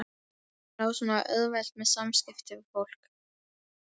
Hann á svo auðvelt með samskipti við fólk.